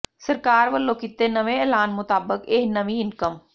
ਸਰਕਾਰ ਵੱਲੋਂ ਕੀਤੇ ਨਵੇਂ ਐਲਾਨ ਮੁਤਾਬਕ ਇਹ ਨਵੀਂ ਇਨਕਮ